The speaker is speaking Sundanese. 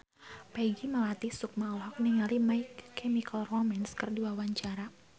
Peggy Melati Sukma olohok ningali My Chemical Romance keur diwawancara